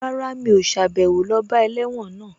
Rárá, mi ò sàbẹ̀wo lọ bá ẹlẹ́wọ̀n náà